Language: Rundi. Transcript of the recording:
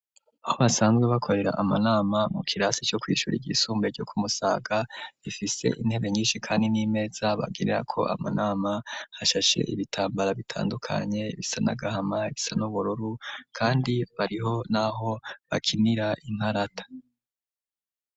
Aho basanzwe bakorera amanama mu kirasi co kwishuri ,iry'isumbuye ryo kumusaga,, bifise intebe nyinshi kandi n'imeza bagirira ko amanama ,hashashe ibitambara bitandukanye bisanagahama ,isa n'ubururu kandi bariho n'aho bakinira inkarata.